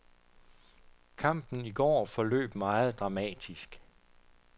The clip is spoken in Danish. Kampen i går forløb meget dramatisk.